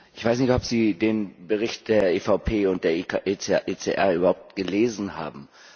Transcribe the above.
Ich weiß nicht, ob Sie den Bericht der EVP und der ECR überhaupt gelesen haben.